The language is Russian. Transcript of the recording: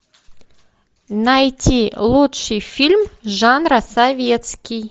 найти лучший фильм жанра советский